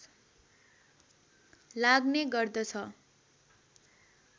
लाग्ने गर्दछ